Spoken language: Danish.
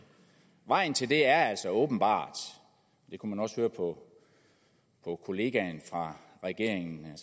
vejen til det er altså åbenbart det kunne man også høre på kollegaen fra regeringen